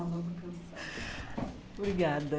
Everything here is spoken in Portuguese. Obrigada.